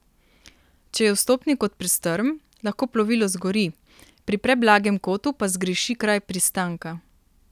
Če je vstopni kot prestrm, lahko plovilo zgori, pri preblagem kotu pa zgreši kraj pristanka.